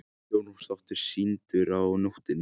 Sjónvarpsþáttur sýndur á nóttinni